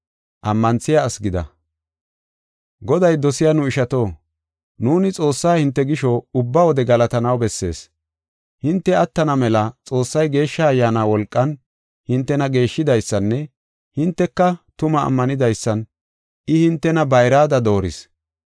Goday dosiya nu ishato, nuuni Xoossaa hinte gisho, ubba wode galatanaw bessees. Hinte attana mela Xoossay Geeshsha Ayyaana wolqan hintena geeshshidaysanne hinteka tumaa ammanidaysan I hintena bayrada dooris.